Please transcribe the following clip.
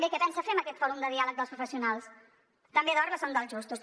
què pensa fer amb aquest fòrum de diàleg professional també dorm el son dels justos